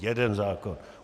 Jeden zákon.